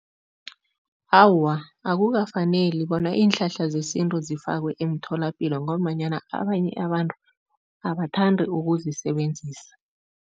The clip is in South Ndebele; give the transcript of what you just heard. Awa, akukafaneli bona iinhlahla zesintu zifakwe emtholapilo ngombanyana abanye abantu abathandi ukuzisebenzisa.